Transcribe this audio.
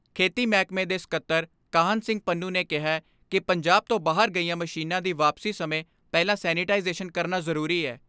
ਖੇਤੀ ਮਹਿਕਮੇ ਦੇ ਸਕੱਤਰ ਕਾਹਨ ਸਿੰਘ ਪੰਨੂ ਨੇ ਕਿਹੈ ਕਿ ਪੰਜਾਬ ਤੋਂ ਬਾਹਰ ਗਈਆਂ ਮਸ਼ੀਨਾਂ ਦੀ ਵਾਪਸੀ ਸਮੇਂ ਪਹਿਲਾਂ ਸੈਨੇਟਾਈਜੇਸ਼ਨ ਕਰਨਾ ਜ਼ਰੂਰੀ ਐ।